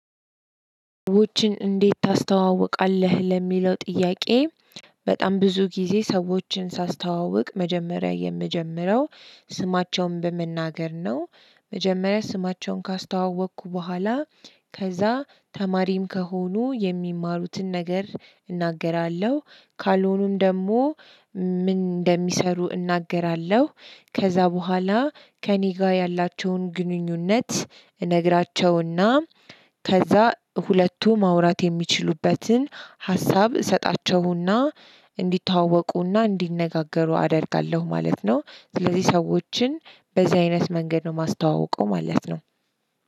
ውችን እንዴት ታስተውቃለህ? ለሚለው ጥያቄ በጣም ብዙ ጊዜ ሰዎችን ሳስተዋውቅ፣ መጀመሪያ የምጀምረው፣ ስማቸውን በመናገር ነው። መጀመሪያ ስማቸውን ካስተዋወኩ በኃላ፣ ከዛ ተማሪም ከሆኑ የሚማሩትን ነገር እናገራለሁ። ካልሆኑም ደሞ ምን እንደሚሰሩ እናገራለሁ። ከዛ በኋላ ከእኔ ጋር ያላቸውን ግንኙነት እነግራቸውና ከዛ ሁሉቱ ማውራት የሚችሉበትን ሀሳብ እሰጣቸውና እንዲተዋወቁና እንዲነጋገሩ አደርጋለሁ ማለት ነው። ስለዚህ ሰዎችን፣ በዚህ አይነት መንገድ ነው ማስተዋውቀው ማለት ነው።